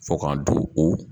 Fo k'an do o